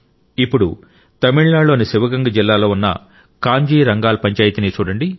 ఇప్పుడు తమిళనాడులోని శివగంగ జిల్లాలో ఉన్న కాంజీ రంగాల్ పంచాయితీని చూడండి